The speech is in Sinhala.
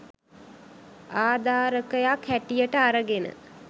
ආධාරකයක් හැටියට අරගෙන